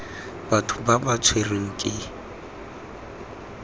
batho ba ba tshwerweng ke